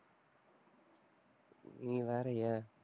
நீ வேற ஏன்?